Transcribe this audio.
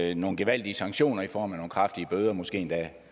i nogle gevaldige sanktioner i form af nogle kraftige bøder måske endda